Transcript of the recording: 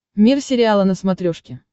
мир сериала на смотрешке